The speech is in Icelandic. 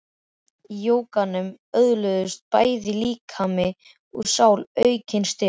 Í jóganu öðluðust bæði líkami og sál aukinn styrk.